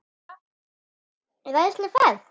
Þetta var æðisleg ferð.